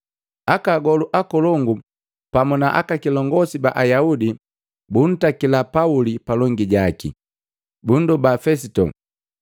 Aka agolu akolongu pamu na aka kilongosi ba Ayaudi buntakila Pauli palongi jaki. Bundoba Fesito,